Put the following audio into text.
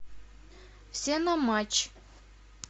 все на матч